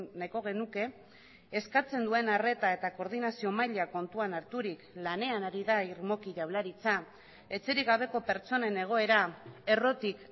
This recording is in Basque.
nahiko genuke eskatzen duen arreta eta koordinazio maila kontuan harturik lanean ari da irmoki jaurlaritza etxerik gabeko pertsonen egoera errotik